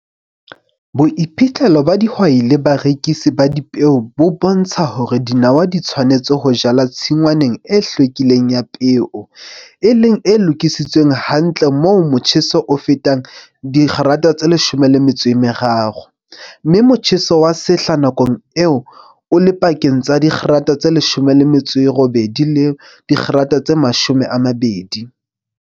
Boiphihlelo ba dihwai le barekisi ba dipeo bo bontsha hore dinawa di tshwanetse ho jalwa tshingwaneng e hlwekileng ya peo, e leng e lokisitsweng hantle moo motjheso o fetang dikgerata tse leshome le metso e meraro, mme motjheso wa sehla nakong eo o le pakeng tsa dikgerata tse leshome le metso e robedi le dikgerata tse mashome a mabedi.